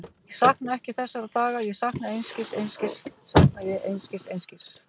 Ég sakna ekki þessara daga, ég sakna einskis, einskis sakna ég, einskis, einskis.